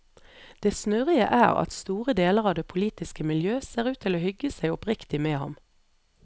Det snurrige er at store deler av det politiske miljø ser ut til å hygge seg oppriktig med ham.